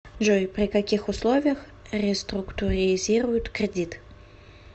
джой при каких условиях реструктуризируют кредит